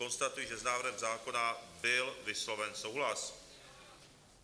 Konstatuji, že s návrhem zákona byl vysloven souhlas.